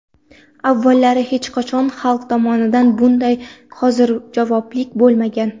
Avvallari hech qachon xalq tomonidan bunday hozirjavoblik bo‘lmagan.